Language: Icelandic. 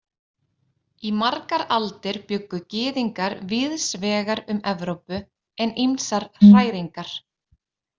Í margar aldir bjuggu gyðingar víðs vegar um Evrópu en ýmsar hræringar.